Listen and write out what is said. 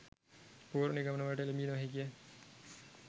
පූර්ව නිගමනවලට එළඹිය නොහැකිය.